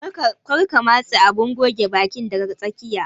Kar ka matse abun goge bakin daga tsakiya.